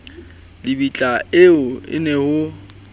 lebitla ee ho ne ho